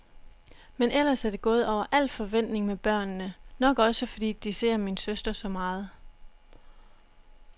Men ellers er det gået over al forventning med børnene, nok også fordi de ser min søster så meget.